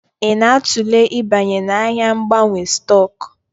Ị na-atụle ịbanye n'ahịa mgbanwe stock?